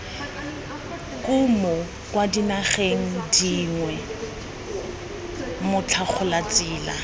kumo kwa dinageng dingwe motlhagolatsela